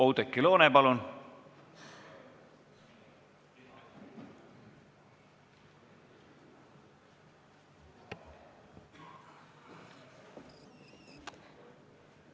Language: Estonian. Oudekki Loone, palun!